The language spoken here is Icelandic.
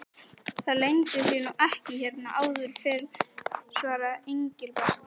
Það leyndi sér nú ekki hérna áður fyrr svaraði Engilbert.